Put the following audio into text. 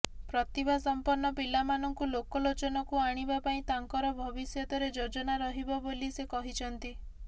ପ୍ରତିଭା ସମ୍ପନ୍ନ ପିଲାମାନଙ୍କୁ ଲୋକଲୋଚନକୁ ଆଣିବା ପାଇଁ ତାଙ୍କର ଭବିଷ୍ୟତରେ ଯୋଜନା ରହିବ ବୋଲି ସେ କହିଛନ୍ତି